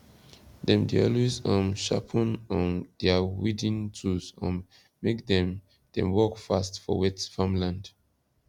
dem dey always um sharpen um dia weeding tools um make dem dem work fast for wet farmland